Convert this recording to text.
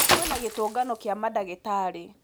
Kwĩna gĩtungano kĩa madagĩtarĩ.